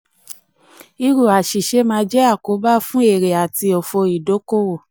irú àṣìṣe máa jẹ àkóbá fún fún èrè àti òfò ìdókòwò.